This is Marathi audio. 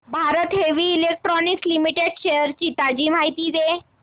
Bharat heavy electricals limited shares ची ताजी माहिती दे